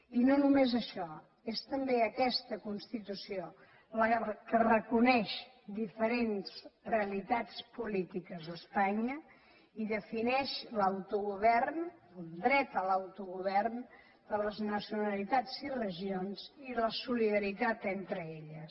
i no només això és també aquesta constitució la que reconeix diferents realitats polítiques a espanya i defineix l’autogovern el dret a l’autogovern de les nacionalitats i regions i la solidaritat entre elles